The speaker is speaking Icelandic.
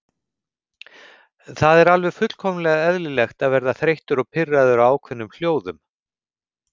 Það er alveg fullkomlega eðlilegt að verða þreyttur og pirraður á ákveðnum hljóðum.